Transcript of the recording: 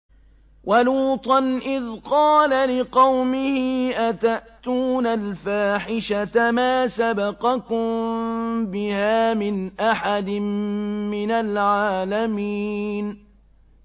وَلُوطًا إِذْ قَالَ لِقَوْمِهِ أَتَأْتُونَ الْفَاحِشَةَ مَا سَبَقَكُم بِهَا مِنْ أَحَدٍ مِّنَ الْعَالَمِينَ